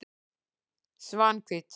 Svanhvít